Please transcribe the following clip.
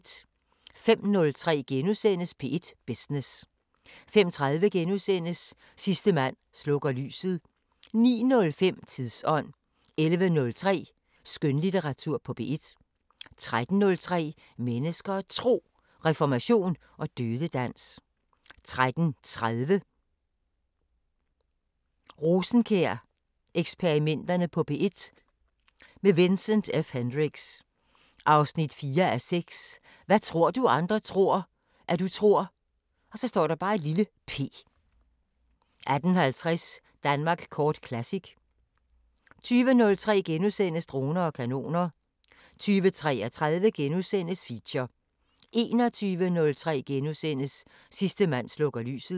05:03: P1 Business * 05:30: Sidste mand slukker lyset * 09:05: Tidsånd 11:03: Skønlitteratur på P1 13:03: Mennesker og Tro: Reformation og dødedans 13:30: Rosenkjær-eksperimenterne på P1 – med Vincent F Hendricks: 4:6 Hvad tror du andre tror, at du tror p 18:50: Danmark kort Classic 20:03: Droner og kanoner * 20:33: Feature * 21:03: Sidste mand slukker lyset *